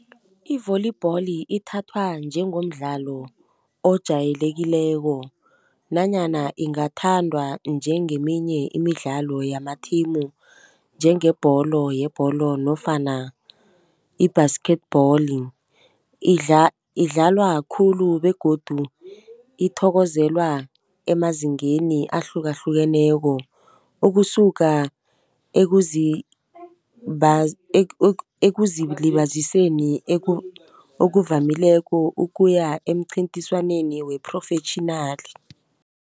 I-volleyball ithathwa njengomdlalo ojayelekileko nanyana ingathandwa njengeminye imidlalo yama-team, njengebholo yebholo nofana i-basketball, idlalwa khulu begodu ithokozelwa emazingeni ahlukahlukeneko, ukusuka ekuzilibaziseni okuvamileko ukuya emncintiswaneni wephrofetjhinali.